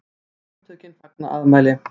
SAMTÖKIN FAGNA AFMÆLI